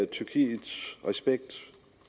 tyrkiets respekt